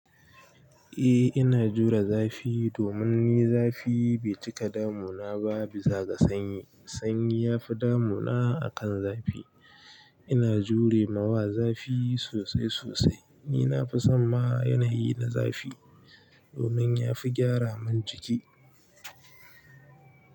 Eh ina jure zafi domin ni zafi bai cika damuna ba bisa ga sanyi. Sanyi ya fi damuna akan zafi. Ina jure ma wa zafi sosai sosai. Ni na fi son ma yanayi na zafi. Domin yafi gyara man jiki.